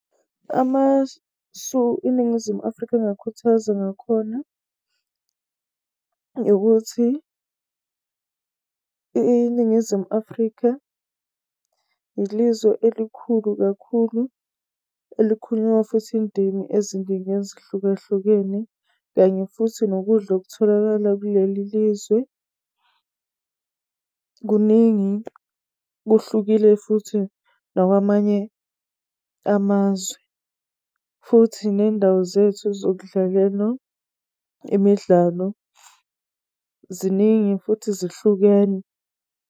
Amasu iNingizimu Afrika engakhuthaza ngakhona, ukuthi iNingizimu Afrika ilizwe elikhulu kakhulu eziningi ezahlukahlukene. Kanye futhi nokudla okutholakala kuleli lizwe kuningi kuhlukile futhi nawamanye amazwe. Futhi ney'ndawo zethu zokudlalela imidlalo ziningi futhi zihlukene.